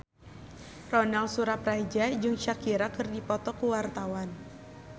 Ronal Surapradja jeung Shakira keur dipoto ku wartawan